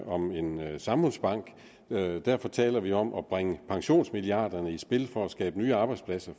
om en samfundsbank derfor taler vi om at bringe pensionsmilliarderne i spil for at skabe nye arbejdspladser